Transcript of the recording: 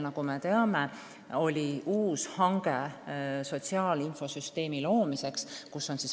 Nagu me teame, korraldati uus hange sotsiaalinfosüsteemi loomiseks.